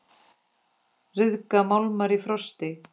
Ryðga málmar í frosti?